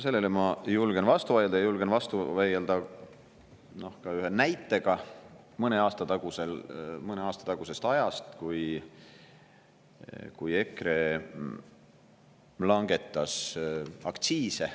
Sellele ma julgen vastu vaielda, ja julgen vastu vaielda ka ühe näitega mõne aasta tagusest ajast, kui EKRE langetas aktsiise.